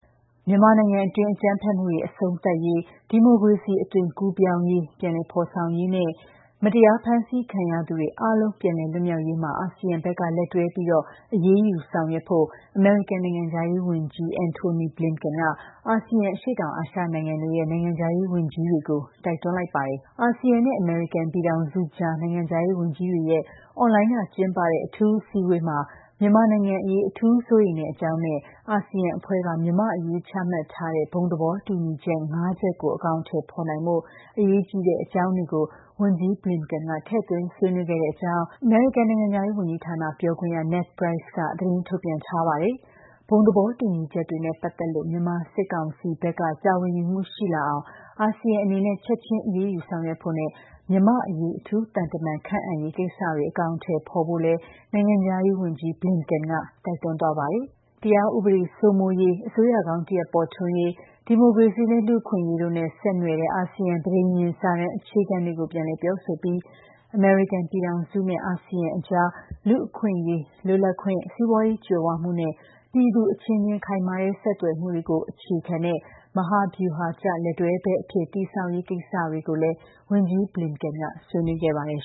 မြန်မာနိုင်ငံအတွင်း အကြမ်းဖက်မှုတွေ အဆုံးသတ်ရေး၊ ဒီမိုကရေစီ အသွင်ကူးပြောင်းရေး ပြန်လည်ဖေါ်ဆောင်ရေးနဲ့ မတရား ဖမ်းဆီးခံရသူတွေ အားလုံး ပြန်လည်လွတ်မြောက်ရေးမှာ အာဆီယံဘက်က လက်တွဲပြီး အရေးယူ ဆောင်ရွက်ဖို့ အမေရိကန် နိုင်ငံခြားရေး ဝန်ကြီး Antony Blinken က အာဆီယံ အရှေ့တောင်အာရှနိုင်ငံတွေရဲ့ နိုင်ငံခြားရေး ဝန်ကြီးတွေကို တိုက်တွန်းလိုက်ပါတယ်။ အာဆီယံနဲ့ အမေရိကန်ပြည်ထောင်စုအကြား နိုင်ငံခြားရေးဝန်ကြီးတွေရဲ့ အွန်လိုင်းက ကျင်းပတဲ့ အထူး အစည်းအဝေးမှာ မြန်မာနိုင်ငံအရေး အထူးစိုးရိမ်တဲ့အကြောင်းနဲ့ အာဆီယံအဖွဲ့က မြန်မာ့အရေးချမှတ်ထားတဲ့ ဘုံသဘောတူညီချက် ၅ ချက်ကို အကောင်အထည်ဖေါ်နိုင်ဖို့ အရေးကြီးတဲ့အကြောင်းတွေကို ဝန်ကြီး Blinken ထည့်သွင်းဆွေးနွေးခဲ့တဲ့အကြောင်း အမေရိကန် နိုင်ငံခြားရေးဝန်ကြီးဌာန ပြောခွင့်ရ Ned Price က သတင်းထုတ်ပြန်ထားပါတယ်။ ဘုံသဘောတူညီချက်တွေနဲ့ပတ်သက်လို့ မြန်မာစစ်ကောင်စီဘက်က တာဝန်ယူမှုရှိလာအောင် အာဆီယံအနေနဲ့ ချက်ခြင်း အရေးယူဆောင်ရွက်ဖို့နဲ့ မြန်မာ့အရေး အထူးသံတမန် ခန့်အပ်ရေး ကိစ္စတွေကို အကောင်အထည်ဖေါ်ဖို့လည်း နိုင်ငံခြားရေးဝန်ကြီး Blinken က တိုက်တွန်းသွားပါတယ်။ ဥပေဒ စိုးမိုးရေး၊ အစိုးရကောင်းတရပ် ပေါ်ထွန်းရေး ဒီမိုကရေစီနဲ့ လူ့အခွင့်အရေးတို့နဲ့ ဆက်နွယ်တဲ့ အာဆီယံ ပဋိညာဉ် စာတမ်း အခြေခံတွေကို ပြန်လည် ပြောဆိုပြီး အမေရိကန် ပြည်ထောင်စုနဲ့ အာဆီယံအကြားမှာ လူ့အခွင့်အရေး၊ လွတ်လပ်ခွင့်၊ စီးပွားရေး ကြွယ်ဝမှုနဲ့ ပြည်သူအချင်းချင်း ခိုင်မာတဲ့ ဆက်သွယ်မှုတွေကို အခြေခံတဲ့ မဟာမဗျုဟာကျ လက်တွဲဖက်အဖြစ် တည်ဆောက်ရေးကိစ္စတွေကိုလည်း ဝန်ကြီး Blinken က ဆွေးနွေးခဲ့ပါတယ်